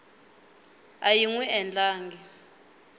a yi n wi endlangi